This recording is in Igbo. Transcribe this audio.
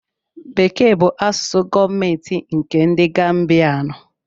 Bekee bụ asụsụ gọọmentị nkè ndị Gambianu